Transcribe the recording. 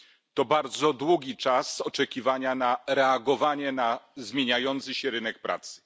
To bardzo długi czas oczekiwania na reagowanie na zmieniający się rynek pracy.